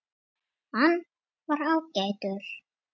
Hann var ágætur